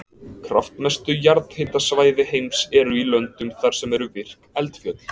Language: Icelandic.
Kraftmestu jarðhitasvæði heims eru í löndum þar sem eru virk eldfjöll.